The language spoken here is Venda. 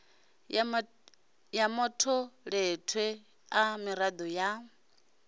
ya matholetwe a mirado ya